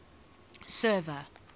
server